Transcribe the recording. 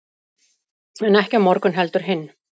en ekki á morgun heldur hinn